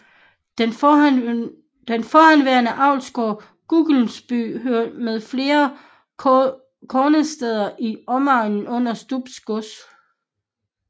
Den forhenværende avlsgård Guggelsby hørte med flere kådnersteder i omegnen under Stubbe gods